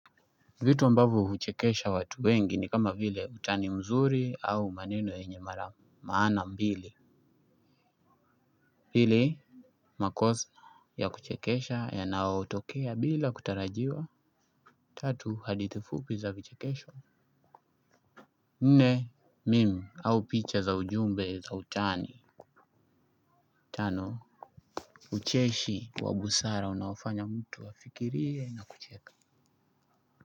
Vitu ambavyo huchekesha watu wengi ni kama vile utani mzuri au maneno yenye mara maana mbili pili makosa ya kuchekesha yanayotokea bila kutarajiwa. Tatu hadithi fupi za vichekesho. Nne meme au picha za ujumbe za utani. Tano ucheshi wa busara unaofanya mtu afikirie na kucheka.